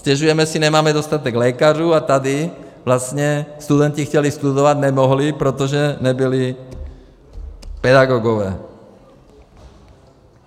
Stěžujeme si, nemáme dostatek lékařů, a tady vlastně studenti chtěli studovat, nemohli, protože nebyli pedagogové.